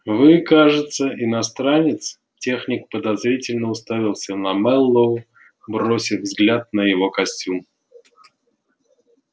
вы кажется иностранец техник подозрительно уставился на мэллоу бросив взгляд на его костюм